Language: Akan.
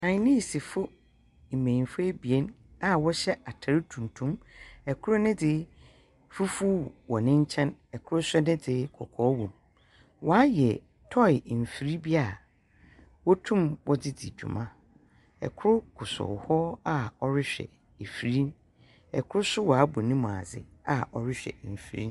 Chinesefo mbemfo abien a wɔhyɛ atar tuntum. Kor ne dze fufuw wɔ ne nkyɛn. Kor ne dze kɔkɔɔ wom. Wɔayɛ toe mfir bi a wotum wɔdze dzi dwuma. Kor kosow hɔ a ɔrehwɛ afir no. Kor nso ɔabɔ nemu adze a ɔrehwɛ afir no.